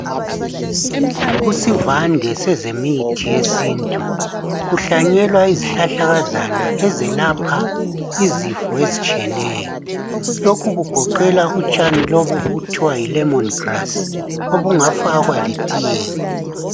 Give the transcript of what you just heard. Kusivande sezemithi yesintu kuhlanyelwa izihlahlakazana ezelapha izifo ezitshiyeneyo lokhu kugoqeda utshani lobu obuthiwa yilemon grass obungafakwa letiyeni.